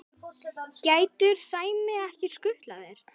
getur Sæmi ekki skutlað þér?